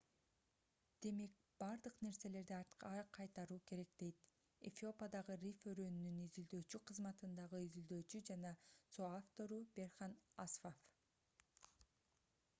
демек бардык нерселерди артка кайтаруу керек - дейт эфиопиадагы рифт өрөөнүнүн изилдөөчү кызматындагы изилдөөчү жана со-автору берхан асфав